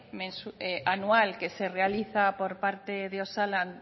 anual que se realiza por parte de osalan